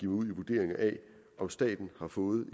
ud i vurderinger af om staten har fået en